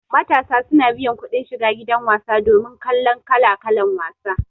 Matasa suna biyan kudin shiga gidan wasa domin kallan kala-kalan wasa